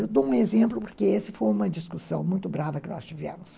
Eu dou um exemplo porque essa foi uma discussão muito brava que nós tivemos.